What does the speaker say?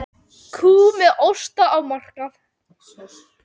Kú með osta á markað